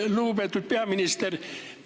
Lugupeetud peaminister!